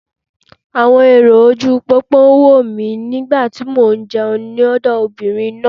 Àwọn èrò ojúu pópó ń wò mí nígbà tí mò ń jẹun lọ́dọ̀ obìnrin náà.